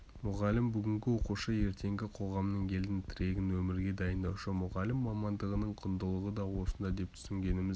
мұғалім бүгінгі оқушы ертеңгі қоғамның елдің тірегін өмірге дайындаушы мұғалім мамандығының құндылығы да осында деп түсінгеніміз